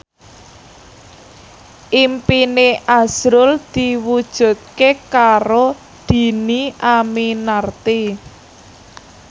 impine azrul diwujudke karo Dhini Aminarti